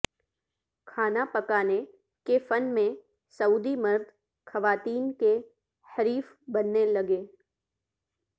کھانا پکانے کے فن میں سعودی مرد خواتین کے حریف بننے لگے